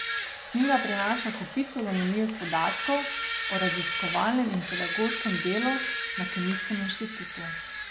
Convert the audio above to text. Knjiga prinaša kopico zanimivih podatkov o raziskovalnem in pedagoškem delu na Kemijskem inštitutu.